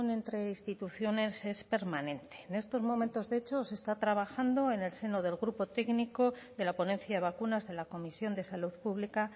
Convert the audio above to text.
entre instituciones es permanente en estos momentos de hecho se está trabajando en el seno del grupo técnico de la ponencia de vacunas de la comisión de salud pública